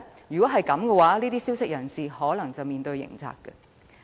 此舉只會令提供消息的人士有面對刑責之虞。